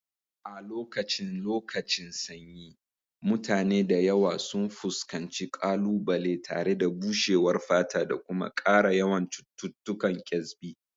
A lokacin lokacin sanyi, mutane da yawa sun fuskanci ƙalubale tare da bushewar fata da kuma ƙara yawan cututtukan kyasbi.